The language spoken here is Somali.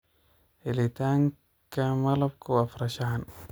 Helitaanka malabku waa farshaxan.